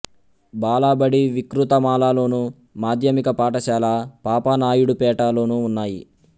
బాలబడి వికృతమాల లోను మాధ్యమిక పాఠశాల పాపానాయుడుపేట లోనూ ఉన్నాయి